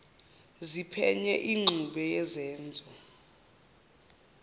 ziphenye ingxube yezenzo